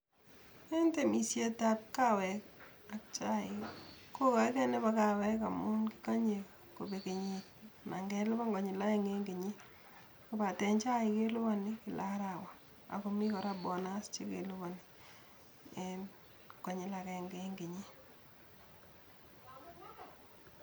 En temisietab kaweek ak chaik, ko kaikei nebo kaweek amun kikanyei kobeek kenyit anan kelipan konyil aeng eng kenyit , kobaten chaik kelipani kila arawa akomi kora bonus chekelipani konyil agenge eng kenyit.